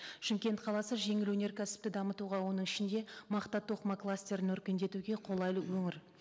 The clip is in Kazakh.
шымкент қаласы жеңіл өңеркәсіпті дамытуға оның ішінде мақта тоқыма кластерін өркендетуге қолайлы өңір